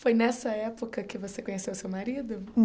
Foi nessa época que você conheceu seu marido?